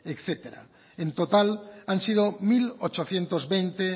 etcétera en total han sido mil ochocientos veinte